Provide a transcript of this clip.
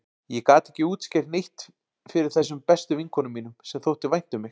Ég gat ekki útskýrt neitt fyrir þessum bestu vinkonum mínum, sem þótti vænt um mig.